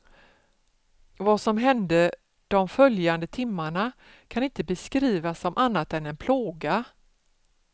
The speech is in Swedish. Vad som hände de följande timmarna kan inte beskrivas som annat än en plåga.